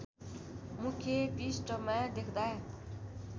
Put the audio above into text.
मुख्य पृष्ठमा देख्दा